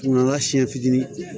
Nka siɲɛ fitinin